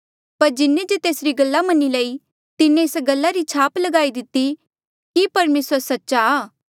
पर जिन्हें जे तेसरी गल्ला मनी लई तिन्हें एस गल्ला री छाप लगाई दिती कि परमेसर सच्चा आ